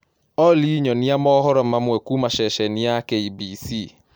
olly nyonĩa mohoro mamwe kũũma ceceni ya K.B.C